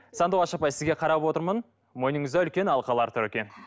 сандуғаш апай сізге қарап отырмын мойныңызда үлкен алқалар тұр екен